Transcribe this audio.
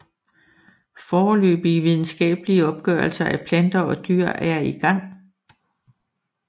Foreløbige videnskabelige opgørelser af planter og dyr er i gang